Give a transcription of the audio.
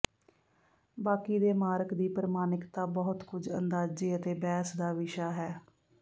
ਬਾਕੀ ਦੇ ਮਾਰਕ ਦੀ ਪ੍ਰਮਾਣਿਕਤਾ ਬਹੁਤ ਕੁਝ ਅੰਦਾਜ਼ੇ ਅਤੇ ਬਹਿਸ ਦਾ ਵਿਸ਼ਾ ਹੈ